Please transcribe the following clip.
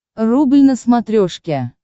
рубль на смотрешке